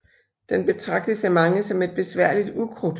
Den betragtes af mange som et besværligt ukrudt